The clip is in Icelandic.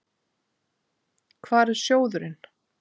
Hvar er sjóðurinn?